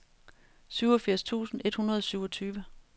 syvogfirs tusind et hundrede og syvogtyve